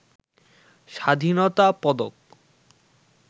স্বাধীনতা পদক